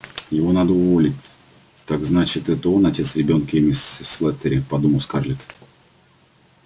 его надо уволить так значит это он отец ребёнка эмми слэттери подумала скарлетт